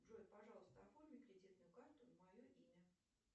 джой пожалуйста оформи кредитную карту на мое имя